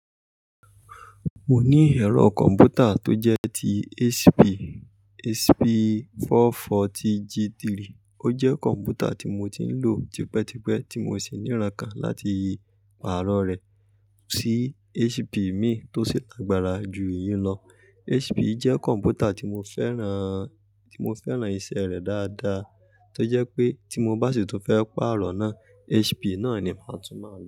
Mo ní ẹ̀rọ kọ̀m̀pútà tó jẹ́ ti HP, HP 440 G3. Ó jẹ́ kọ̀m̀pútà tí mo ti ń lò tipẹ́tipẹ́ tí mo sì ní ìrankàn láti pàrọ rẹ̀ sí HP míì tó sì lágbára ju yìí lọ. HP jẹ́ kọ̀m̀pútà tí mo fẹ́ràn, tí mo fẹ́ràn iṣẹ́ rẹ dáadáa tó jẹ́ pé tí mo bá sì tún fẹ́ pàrọ̀ náà, HP náà ni màá tún máa lò.